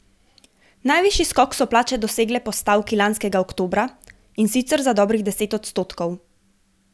Najvišji skok so plače dosegle po stavki lanskega oktobra in sicer za dobrih deset odstotkov.